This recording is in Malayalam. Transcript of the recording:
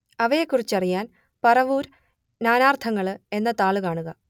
അവയെക്കുറിച്ചറിയാൻ പറവൂർ നാനാർത്ഥങ്ങൾ എന്ന താൾ കാണുക